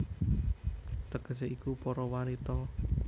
Tegesé iku Para Wanita